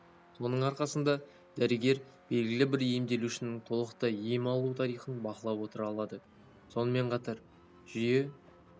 соның арқасында дәрігер белгілі-бір емделушінің толықтай ем алу тарихын бақылап отыра алады сонымен қатар жүйе